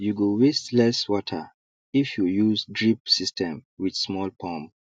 you go waste less water if you use drip system with small pump